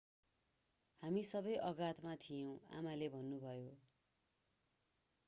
हामी सबै आघातमा थियौँ आमाले भन्नुभयो